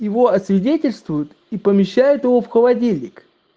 его освидетельствуют и помещает его в холодильник